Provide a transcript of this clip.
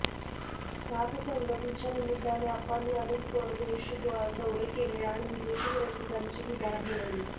साथसंगतीच्या निमित्ताने आप्पांनी अनेक परदेशदौरे केले आणि विदेशी रसिकांचीही दाद मिळवली